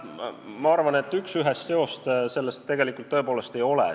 Ma arvan, et üksühest seost selles tõepoolest ei ole.